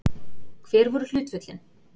Hver voru hlutföllin?